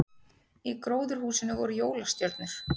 Í gróðurhúsinu voru jólastjörnur